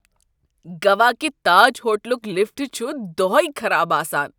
گوا کہ تاج ہوٹلُک لفٹ چھُ دۄہے خراب آسان۔